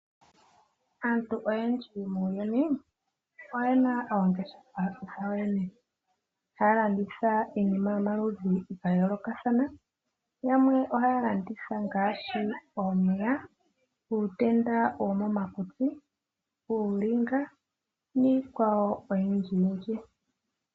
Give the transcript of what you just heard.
Aantu oyendji muuyuni oye na oongeshefa dhawo yoyene. Haya landitha iinima yomaludhi ga yoolokathana. Yamwe ohaya landitha omapaya, uutenda womomakutsi, uulinga niikwawo oyindjiyindji.